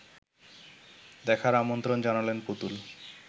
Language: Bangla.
দেখার আমন্ত্রণ জানালেন পুতুল